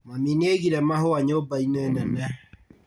Mami nĩaigire mahũa nyũmba-inĩ nene?